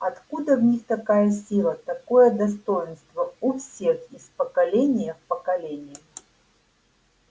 откуда в них такая сила такое достоинство у всех из поколения в поколение